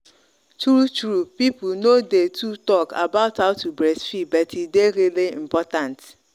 true true people no day too talk about how to breastfeed but e day really important